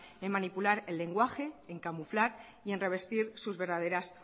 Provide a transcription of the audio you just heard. en manipular el lenguaje en camuflar y en revestir sus verdaderas